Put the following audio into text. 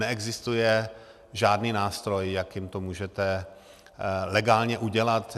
Neexistuje žádný nástroj, jakým to můžete legálně udělat.